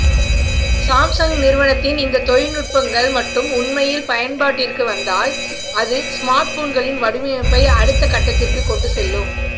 Samsung நிறுவனத்தின் இந்த தொழில்நுட்பங்கள் மட்டும் உண்மையில் பயன்பாட்டிற்கு வந்தால் அது ஸ்மார்ட்போன்களின் வடிவமைப்பைஅடுத்த கட்டத்திற்கு கொண்டு செல்லும்